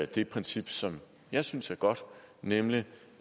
det princip som jeg synes er godt nemlig